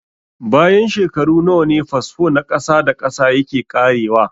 Bayan shekaru nawa ne fasfo na ƙasa da ƙasa yake ƙarewa?